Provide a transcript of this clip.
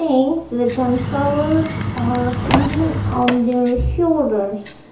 with themselves are hanging on their shoulders.